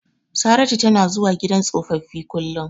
Saratu tana zuwa gidan tsofaffi kullum.